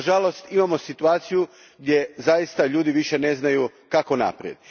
Nažalost imamo situaciju gdje ljudi više ne znaju kako naprijed.